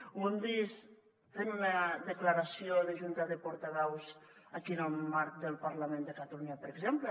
ho hem vist fent una declaració de junta de portaveus aquí en el marc del parlament de catalunya per exemple